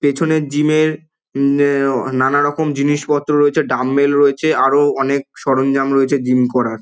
পেছনের জিম এর উমম নএও নানারকম জিনিসপত্র রয়েছে ডাম্বেল রয়েছে আরো অনেক সরঞ্জাম রয়েছে জিম করার।